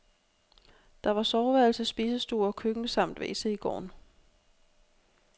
Der var soveværelse, spisestue og køkken samt wc i gården.